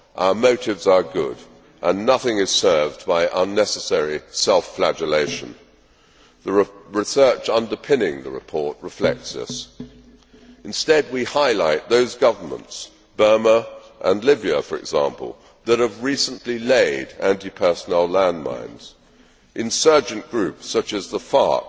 Our motives are good, and nothing is served by unnecessary self flagellation the research underpinning the report reflects this. Instead we highlight those governments Burma and Libya, for example that have recently laid anti personnel landmines, and insurgent groups such as the